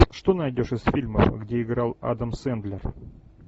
что найдешь из фильмов где играл адам сэндлер